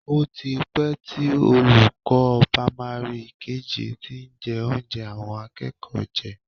O ti pẹ́ tí olùkọ́ pámárì kejì ti ń jí oúnjẹ àwọn akẹ́kọ̀ọ́ jẹ